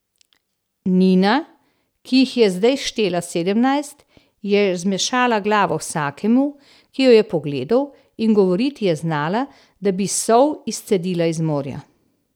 Nina, ki jih je zdaj štela sedemnajst, je zmešala glavo vsakemu, ki jo je pogledal, in govoriti je znala, da bi sol izcedila iz morja.